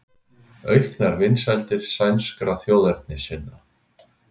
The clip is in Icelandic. Auknar vinsældir sænskra þjóðernissinna